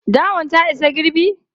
Dawan ka ya isa girbi?